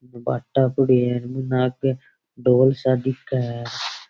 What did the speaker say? भाटा पड़ा है इन आगे ढोल सा दिख है।